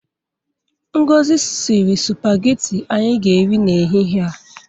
Ngozi siri sụpageti anyị ga-eri n'ehihe a.